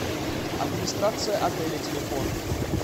администрация отеля телефон